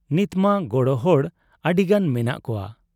ᱱᱤᱛᱢᱟ ᱜᱚᱲᱚ ᱦᱚᱲ ᱟᱹᱰᱤᱜᱟᱱ ᱢᱮᱱᱟᱜ ᱠᱚᱣᱟ ᱾